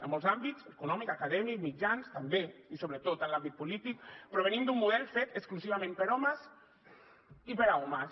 en molts àmbits econòmic acadèmic mitjans també i sobretot en l’àmbit polític però venim d’un model fet exclusivament per homes i per a homes